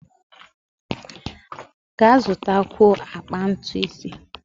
Ga zụtakwuo akpa ntu ise!